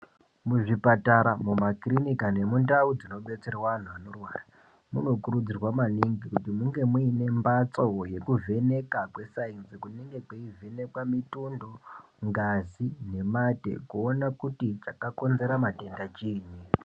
Muzvipatara, mumakirinika nemundau dzinobetserwa anhu anorwara, munokurudzirwa maningi kuti munge muine mbatso yekuvheneka kweSainzi kunenge kweivhenekwa mitundo, ngazi nemate kuona kuti chakakonzera matenda chii.